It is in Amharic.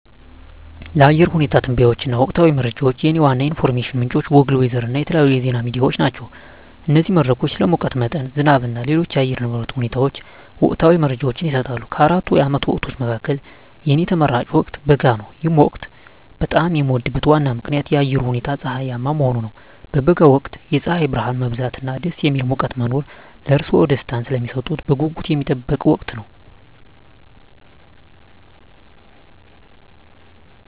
ለአየር ሁኔታ ትንበያዎች እና ወቅታዊ መረጃዎች፣ የእኔ ዋና የኢንፎርሜሽን ምንጮች ጎግል ዌዘር እና የተለያዩ የዜና ሚዲያዎች ናቸው። እነዚህ መድረኮች ስለ ሙቀት መጠን፣ ዝናብ እና ሌሎች የአየር ንብረት ሁኔታዎች ወቅታዊ መረጃዎችን ይሰጣሉ። ከአራቱ የዓመት ወቅቶች መካከል፣ የእኔ ተመራጭ ወቅት በጋ ነው። ይህ ወቅት በጣም የሚወደድበት ዋና ምክንያት የአየሩ ሁኔታ ፀሐያማ መሆኑ ነው። በበጋ ወቅት የፀሐይ ብርሃን መብዛት እና ደስ የሚል ሙቀት መኖር ለእርስዎ ደስታን ስለሚሰጡት በጉጉት የሚጠበቅ ወቅት ነው።